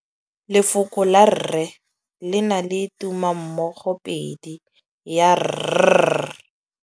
Lefoko la rre le na le tumammogôpedi ya, r.